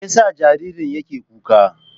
Me yasa jaririn yake kuka?